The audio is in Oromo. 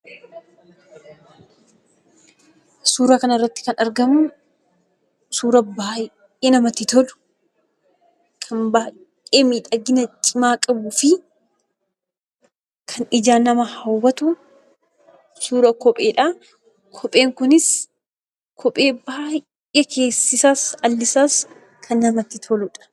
Suuraa kanarratti kan argamu suuraa baay'ee namatti tolu kan baay'ee miidhagina cimaa qabuu fi kan ijaan nama hawwatu suuraa kopheedha. Kopheen kunis kophee baay'ee keessi isaas alli isaas namatti toludha.